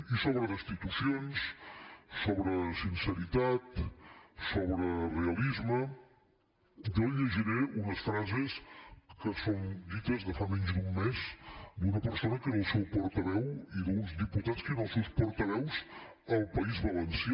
i sobre destitucions sobre sinceritat sobre realisme jo li llegiré unes frases que són dites de fa menys d’un mes d’una persona que era el seu portaveu i d’uns diputats que eren els seus portaveus al país valencià